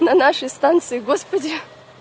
на нашей станции господи